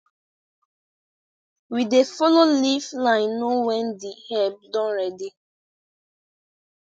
we dey follow leaf line know when the herb don ready